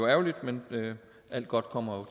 ærgerligt men alt godt kommer